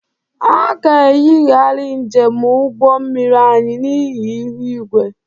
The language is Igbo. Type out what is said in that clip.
A ga-eyigharị njem ụgbọ mmiri anyị n'ihi ihu igwe.